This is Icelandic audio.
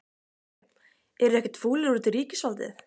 Sindri: Eruð þið ekkert fúlir út í ríkisvaldið?